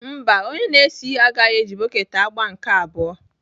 Mba, onye na-ese ihe agaghị eji bọket agba nke abụọ.